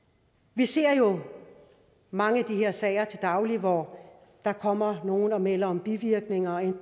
vi ser jo mange af de her sager til daglig hvor der kommer nogle og melder om bivirkninger af